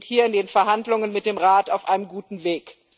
Wir sind hier in den Verhandlungen mit dem Rat auf einem guten Weg.